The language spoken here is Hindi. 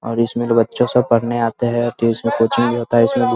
और इसमें बच्चे सब पढ़ने आते हैं तो इसमें कोचिंग भी होता है इसमें भी --